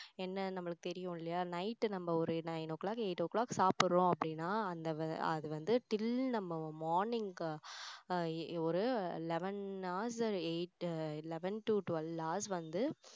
என்ன நம்மளுக்கு தெரியும் இல்லையா night நம்ம ஒரு nine o'clock eight o'clock சாப்பிடுறோம் அப்படின்னா அந்த அது வந்து till நம்ம morning ஒரு eleven hours eight eleven to twelve hours வந்து